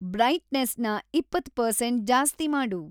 ಬ್ರೈಟ್‌ನೆಸ್‌ನ ಇಪ್ಪತ್ತ್ ಪರ್ಸೆಂಟ್ ಜಾಸ್ತಿ ಮಾಡು